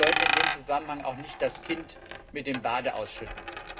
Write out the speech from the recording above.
Wir sollten in dem Zusammenhang jedoch nicht das Kind mit dem Bade ausschütten.